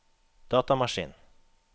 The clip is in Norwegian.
datamaskin